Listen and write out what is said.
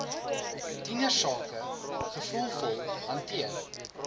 tienersake gevoelvol hanteer